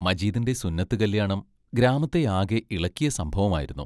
മജീദിന്റെ സുന്നത്തു കല്യാണം ഗ്രാമത്തെ ആകെ ഇളക്കിയ സംഭവമായിരുന്നു.